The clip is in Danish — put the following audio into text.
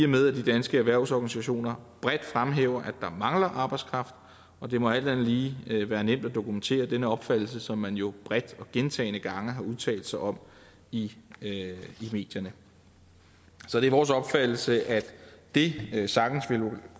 med at de danske erhvervsorganisationer bredt fremhæver at der mangler arbejdskraft og det må alt andet lige være nemt at dokumentere denne opfattelse som man jo bredt og gentagne gange har udtalt sig om i medierne så det er vores opfattelse at det sagtens ville